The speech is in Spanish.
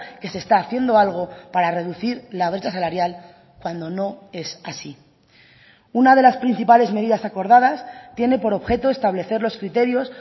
que se está haciendo algo para reducir la brecha salarial cuando no es así una de las principales medidas acordadas tiene por objeto establecer los criterios